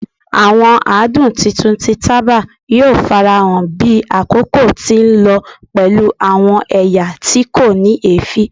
Awọn adun titun ti taba yoo farahan bi akoko ti nlọ pẹlu pẹlu awọn ẹya ti ko ni eefin